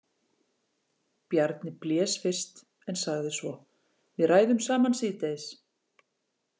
Bjarni blés fyrst en sagði svo: Við ræðum saman síðdegis.